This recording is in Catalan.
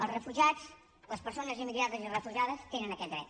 els refugiats les persones immigrades i refugiades tenen aquest dret